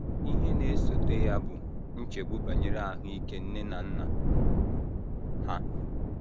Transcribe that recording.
Ihe na - esote ya bụ nchegbu banyere ahụ ike nne na nna ha.